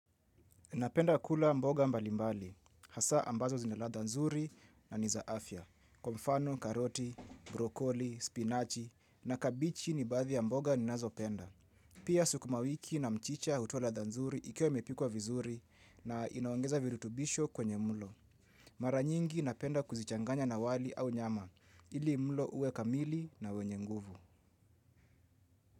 Napenda kula mboga mbalimbali. Hasaa ambazo zina ladha nzuri na niza afya. Kwa mfano, karoti, brokoli, spinachi na kabichi ni baadhi ya mboga ninazopenda. Pia sukuma wiki na mchicha hutoa ladha nzuri ikiwa imepikwa vizuri na inaongeza virutubisho kwenye mlo. Maranyingi napenda kuzichanganya na wali au nyama. Ili mulo uwe kamili na wenye nguvu.